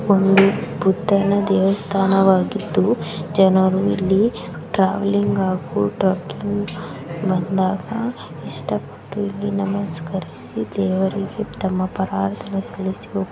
ಒಂದು ಬುದ್ಧನ ದೇವಸ್ಥಾನವಾಗಿದ್ದು ಜನರು ಇಲ್ಲಿ ಟ್ರಾವೆಲ್ಲಿಂಗ್ ಹಾಗು ಟ್ರೆಕಿಂಗ್ ಬಂದಾಗ ಇಷ್ಟಪಟ್ಟು ಇಲ್ಲಿ ನಮಸ್ಕರಿಸಿ ಇಲ್ಲಿ ದೇವರಿಗೆ ತಮ್ಮ --